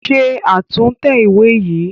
Ṣe àtúntẹ̀ ìwé yìí!